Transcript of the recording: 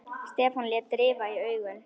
Stefán lét rifa í augun.